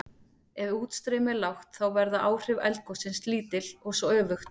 Ef útstreymi er lágt þá verða áhrif eldgossins lítil og svo öfugt.